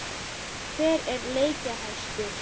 Hver er leikjahæstur?